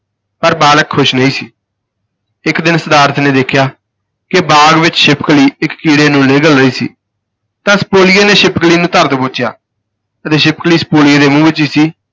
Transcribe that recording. ਪਰ ਬਾਲਕ ਖੁਸ਼ ਨਹੀਂ ਸੀ, ਇਕ ਦਿਨ ਸਿਧਾਰਥ ਨੇ ਦੇਖਿਆ ਕਿ ਬਾਗ ਵਿਚ ਛਿਪਕਲੀ ਇਕ ਕੀੜੇ ਨੂੰ ਨਿਗਲ ਰਹੀ ਸੀ ਤਾਂ ਸਪੋਲੀਏ ਨੇ ਛਿਪਕਲੀ ਨੂੰ ਧਰ ਦਬੋਚਿਆ, ਅਜੇ ਛਿਪਕਲੀ ਸਪੋਲੀਏ ਨੇ ਮੂੰਹ ਵਿਚ ਹੀ ਸੀ